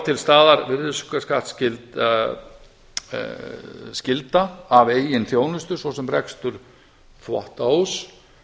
til staðar virðisaukaskattsskyld skylda af eigin þjónustu svo sem rekstur þvottahúss